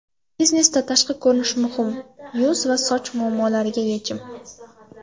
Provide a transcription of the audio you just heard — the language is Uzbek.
Biznesda tashqi ko‘rinish muhim yuz va soch muammolariga yechim!.